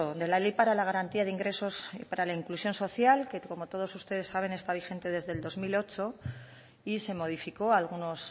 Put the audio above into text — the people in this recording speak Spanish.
de la ley para la garantía de ingresos y para la inclusión social que como todos ustedes saben está vigente desde el dos mil ocho y se modificó algunos